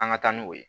An ka taa n'o ye